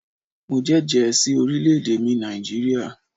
Mo jẹ́jẹ̀ ẹ́ sí orílẹ̀ èdè mi Nàìjíríà